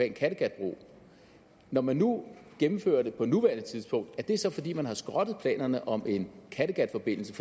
en kattegatbro når man nu gennemfører det på nuværende tidspunkt er det så fordi man har skrottet planerne om en kattegatforbindelse